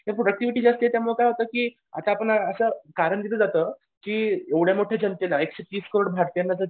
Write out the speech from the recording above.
ते प्रॉडक्टिव्हिटी जास्त आहे त्याच्यामुळं काय होतं की आता आपण असं कारण दिलं जातं की एवढ्या मोठ्या जनतेला एकशे तीस करोड भारतीय